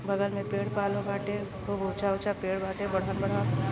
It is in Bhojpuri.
बगल में पेड़-पलो बाटे। खूब ऊँचा-ऊँचा पेड़ बाटे। बड़हन-बड़हन --